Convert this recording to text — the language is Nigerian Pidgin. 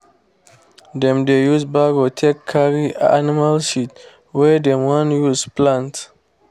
dem dey use barrow take carry animal "shit" wey dem wan use plant.